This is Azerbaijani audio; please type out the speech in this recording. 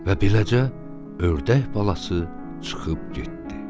Və beləcə ördək balası çıxıb getdi.